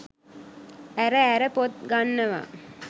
ඇර ඇර පොත් ගන්නවා.